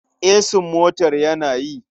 Esin motar yana yi.